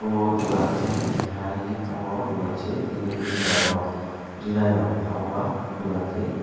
o dogan khe keha ri palmo dogan se ri meter rok rinairok payoma dogan se.